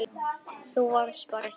Þú varst bara hér.